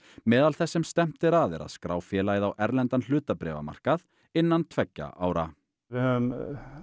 meðal þess sem stefnt er að er að skrá félagið á erlendan hlutabréfamarkað innan tveggja ára við höfum